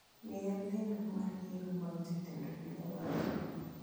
Miya lendo mar yiero mag jatend piny owacho